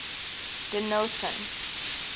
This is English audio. denillton